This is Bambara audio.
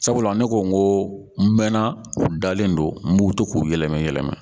Sabula ne ko n ko n mɛna u dalen don n b'u to k'u yɛlɛmɛ yɛlɛma